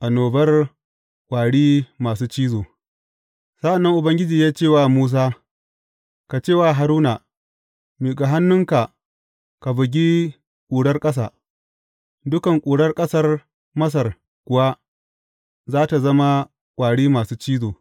Annobar ƙwari masu cizo Sa’an nan Ubangiji ya ce wa Musa, Ka ce wa Haruna, Miƙa hannunka ka bugi ƙurar ƙasa,’ dukan ƙurar ƙasar Masar kuwa za tă zama ƙwari masu cizo.